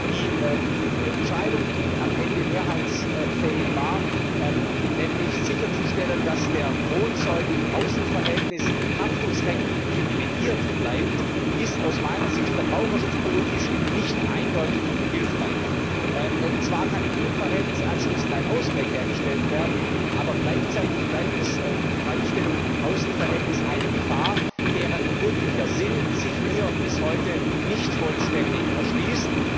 Die Entscheidung, die am Ende mehrheitsfähig war, nämlich sicherzustellen, dass der Kronzeuge im Außenverhältnis haftungsrechtlich privilegiert bleibt, ist aus meiner Sicht verbraucherschutzpolitisch nicht eindeutig hilfreich. Zwar kann im Innenverhältnis anschließend ein Ausgleich hergestellt werden, aber gleichzeitig bleibt die Freistellung im Außenverhältnis eine Gefahr, deren wirklicher Sinn sich mir bis heute nicht vollständig erschließt.